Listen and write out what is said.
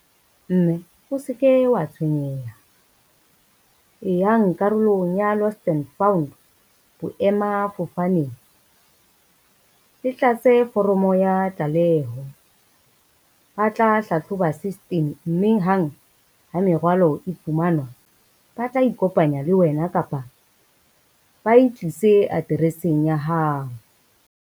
Mme o se ke wa tshwenyeha, e yang karolong ya lost and found boemafofaneng le tlatse foromo ya tlaleho, ba tla hlahloba system, mme hang ha merwalo e fumanwa, ba tla ikopanya le wena kapa ba e tlise atereseng ya hao.